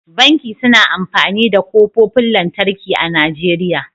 Banki suna amfani da ƙofofin lantarki a Najeriya.